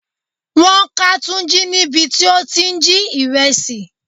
Wọ́n ká Tunji níbi tí ó ti ń jí ìrẹsì.